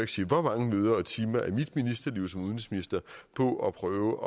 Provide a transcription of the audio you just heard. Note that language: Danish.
sige hvor mange møder og timer af mit liv som udenrigsminister på at prøve